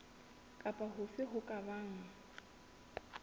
kapa hofe ho ka bang